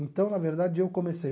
Então, na verdade, eu comecei.